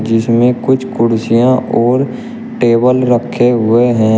जिसमें कुछ कुर्सियां और टेबल रखे हुए हैं।